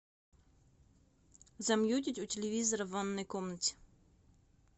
замьютить у телевизора в ванной комнате